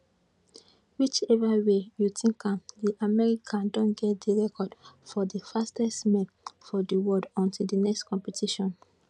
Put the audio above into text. whichever way you tink am di american don get di record for di fastest man for di world until di next competition